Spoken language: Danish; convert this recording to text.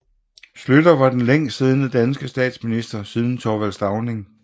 Schlüter var den længstsiddende danske statsminister siden Thorvald Stauning